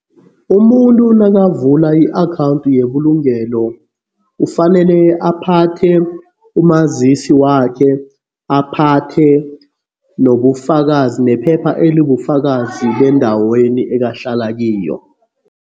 Umuntu nakavula i-akhawundi yebulungelo ufanele aphathe umazisi wakhe, aphathe nobufakazi, nephepha elibufakazi bendaweni ekahlala kiyo.